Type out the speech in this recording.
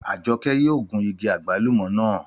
Àjọkẹ́ yóò gun igi àgbálùmọ́ naa.